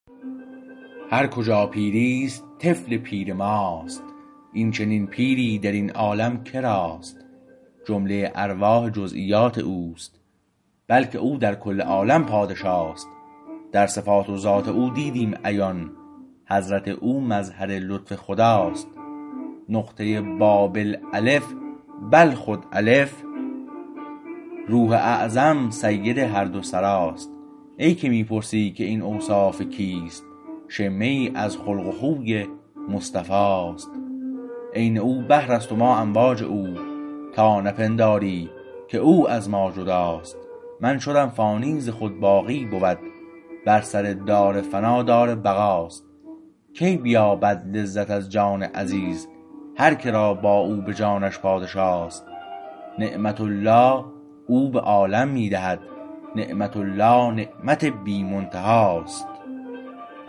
هرکجا پیریست طفل پیر ماست این چنین پیری در این عالم کراست جمله ارواح جزییات او است بلکه او در کل عالم پادشاست در صفات و ذات او دیدم عیان حضرت او مظهر لطف خداست نقطه بابل الف بل خود الف روح اعظم سید هر دو سراست ای که می پرسی که این اوصاف کیست شمه ای از خلق و خوی مصطفی است عین او بحر است و ما امواج او تا نپنداری که او از ما جداست من شدم فانی ز خود باقی بود بر سر دار فنا دار بقاست کی بیابد لذت از جان عزیز هر کرا با او به جانش پادشاست نعمت الله او به عالم می دهد نعمت الله نعمت بی منتهاست